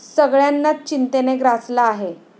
सगळ्यांनाच चिंतेने ग्रासलं आहे.